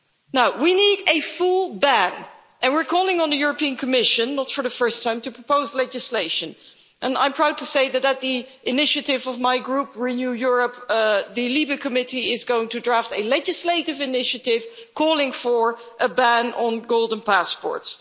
Now, we need a full ban, and we're calling on the European Commission, not for the first time, to propose legislation, and I'm proud to say that at the initiative of my group Renew Europe, the Committee for Civil Liberties, Justice and Home Affairs Committee is going to draft a legislative initiative calling for a ban on golden passports.